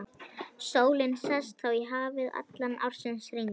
Sólin sest þá í hafið allan ársins hring.